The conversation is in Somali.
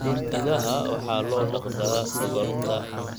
Idaha waxaa loo dhaqdaa dhogorta.